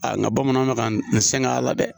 nga bamananw bɛ ka ne sɛg'a la dɛ,